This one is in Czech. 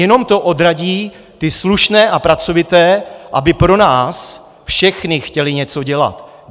Jenom to odradí ty slušné a pracovité, aby pro nás všechny chtěli něco dělat.